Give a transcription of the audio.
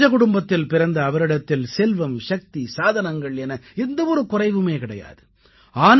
ஒரு ராஜகுடும்பத்தில் பிறந்த அவரிடத்தில் செல்வம் சக்தி சாதனங்கள் என எந்த ஒரு குறைவுமே கிடையாது